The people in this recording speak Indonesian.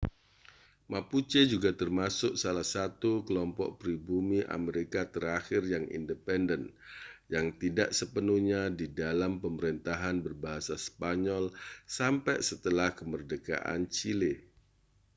mapuche juga termasuk salah satu kelompok pribumi amerika terakhir yang independen yang tidak sepenuhnya di dalam pemerintahan berbahasa spanyol sampai setelah kemerdekaan chile